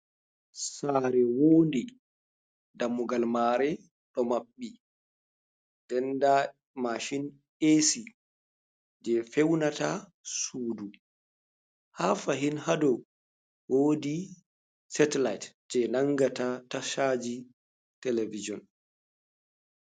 Saare wodi dammugal mare ɗo maɓɓi, nden nda mashin esi je feunata suudu, haa fahin haa dow wodi satelite je nangata tashaji televison.